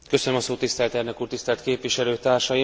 Tisztelt elnök úr, tisztelt képviselőtársaim!